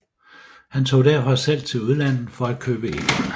Han tog derfor selv til udlandet for at købe ind